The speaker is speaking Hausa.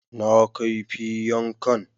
Na kaifi yankan